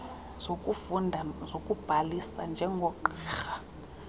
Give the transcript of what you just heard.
zokufunda zokubhalisa njengogqirha